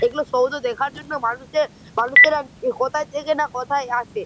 এইগুলো সহজে দেখার জন্য মানুষে মানুষেরা কোথা থেকে না কোথায় আসে।